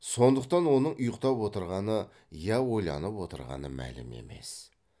сондықтан оның ұйқтап отырғаны я ойланып отырғаны мәлім емес